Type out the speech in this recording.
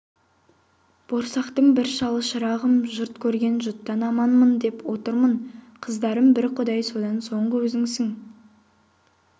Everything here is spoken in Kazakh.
борсақтың бір шалы шырағым жұрт көрген жұттан аманмын деп отырмын қарыздарым бір құдай содан соңғы өзіңсің